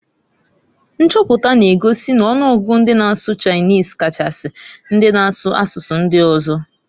Nchoputa na- egosi n'ọnụgụgụ ndị na-asụ Chinese Kachasi, ndị na-asụ asụsụ ndị ọzọ.